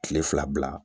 Kile fila bila